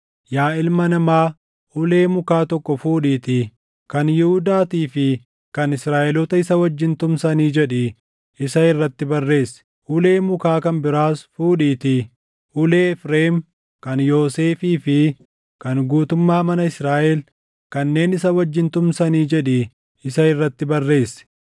“Yaa ilma namaa, ulee mukaa tokko fuudhiitii, ‘Kan Yihuudaatii fi kan Israaʼeloota isa wajjin tumsanii’ jedhii isa irratti barreessi. Ulee mukaa kan biraas fuudhiitii, ‘Ulee Efreem, kan Yoosefii fi kan guutummaa mana Israaʼel kanneen isa wajjin tumsanii’ jedhii isa irratti barreessi.